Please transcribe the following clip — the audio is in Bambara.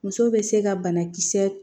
Muso bɛ se ka banakisɛ